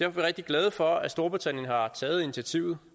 er vi rigtig glade for at storbritannien har taget initiativet